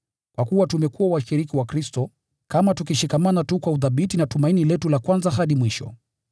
Kwa kuwa tumekuwa washiriki wa Kristo, kama tukishikamana tu kwa uthabiti na tumaini letu la kwanza hadi mwisho.